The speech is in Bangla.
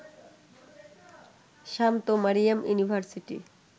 শান্ত-মারিয়াম ইউনিভার্সিটি